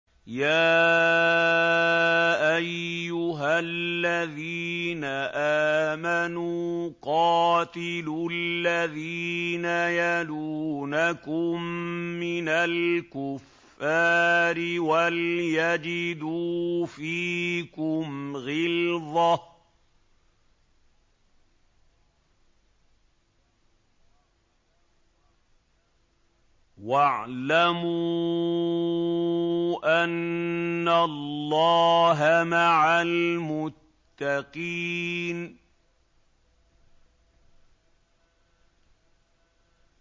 يَا أَيُّهَا الَّذِينَ آمَنُوا قَاتِلُوا الَّذِينَ يَلُونَكُم مِّنَ الْكُفَّارِ وَلْيَجِدُوا فِيكُمْ غِلْظَةً ۚ وَاعْلَمُوا أَنَّ اللَّهَ مَعَ الْمُتَّقِينَ